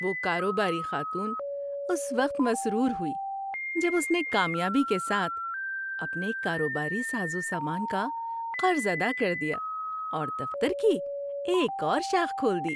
وہ کاروباری خاتون اس وقت مسرور ہوئی جب اس نے کامیابی کے ساتھ اپنے کاروباری ساز و سامان کا قرض ادا کر دیا اور دفتر کی ایک اور شاخ کھول دی۔